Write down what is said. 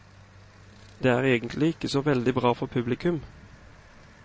Det er egentlig ikke så veldig bra for publikum.